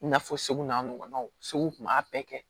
I n'a fɔ segu n'a ɲɔgɔnnaw segu kun b'a bɛɛ kɛ